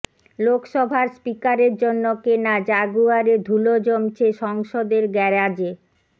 লোকসভার স্পিকারের জন্য কেনা জাগুয়ারে ধুলো জমছে সংসদের গ্যারাজে